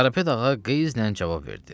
Karapet ağa qəyznən cavab verdi.